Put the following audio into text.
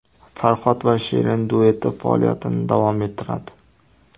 Farhod va Shirin dueti faoliyatini davom ettiradi.